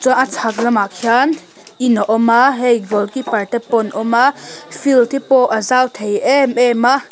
a chhak lamah khian in a awm a hei goal keeper te pawh an awm a field tepawh a zau thei em em a.